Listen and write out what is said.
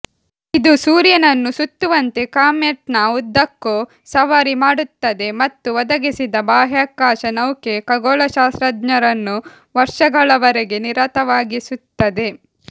ಇದು ಸೂರ್ಯನನ್ನು ಸುತ್ತುವಂತೆ ಕಾಮೆಟ್ನ ಉದ್ದಕ್ಕೂ ಸವಾರಿ ಮಾಡುತ್ತದೆ ಮತ್ತು ಒದಗಿಸಿದ ಬಾಹ್ಯಾಕಾಶ ನೌಕೆ ಖಗೋಳಶಾಸ್ತ್ರಜ್ಞರನ್ನು ವರ್ಷಗಳವರೆಗೆ ನಿರತವಾಗಿಸುತ್ತದೆ